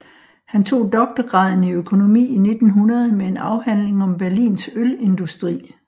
Han tog doktorgraden i økonomi i 1900 med en afhandling om Berlins ølindustri